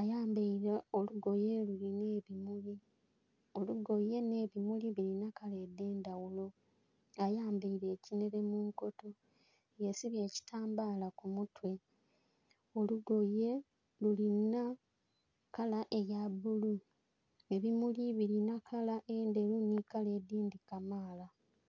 ayambere olugoye lulinha ebimuli, olugoye nhe bimuli birinha kala edhendhaghulo, ayambere ekinhere munkoto, yesibye ekitambala kumutwe, olugoye lulinha kala eya bbulu, ebimuli bilinha kala endheru nh'edhindhi kamala.